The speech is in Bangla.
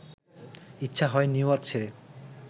ইচ্ছা হয় নিউইয়র্ক ছেড়ে